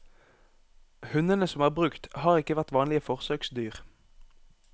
Hundene som er brukt, har ikke vært vanlige forsøksdyr.